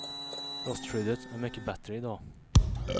Rostskyddet är mycket bättre i dag.